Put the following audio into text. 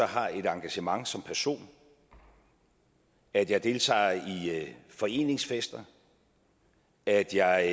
har et engagement som person at jeg deltager i foreningsfester at jeg